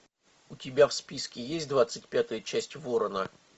у тебя в списке есть двадцать пятая часть ворона